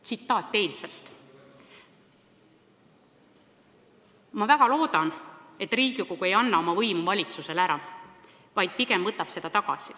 Tsitaat eilsest: "Ma väga loodan, et Riigikogu ei anna oma võimu valitsusele ära, vaid pigem võtab seda tagasi.